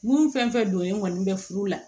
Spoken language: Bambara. Mun fɛn fɛn donnen kɔni bɛ furu la